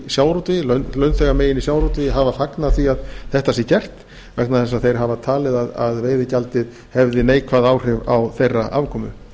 sjávarútvegi launþegamegin í sjávarútvegi hafa fagnað því að þetta sé gert vegna þess að þeir hafa talið að veiðigjaldið hefði neikvæð áhrif á þeirra afkomu